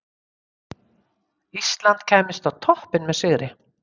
Ísland kæmist á toppinn með sigri.